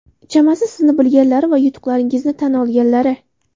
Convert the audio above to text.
Chamasi sizni bilganlari va yutuqlaringizni tan olganlari.